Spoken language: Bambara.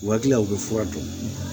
U ka kila u bɛ fura dɔn